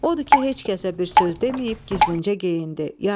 Odur ki, heç kəsə bir söz deməyib, gizlincə geyindi.